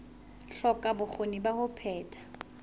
hloka bokgoni ba ho phetha